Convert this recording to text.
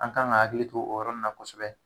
An kan ka hakili to o yɔrɔ na kosɛbɛ.